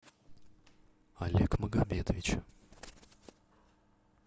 олег магомедович